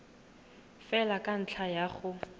fela ka ntlha ya go